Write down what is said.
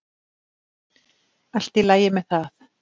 Allt í lagi með það.